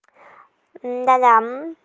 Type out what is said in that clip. да да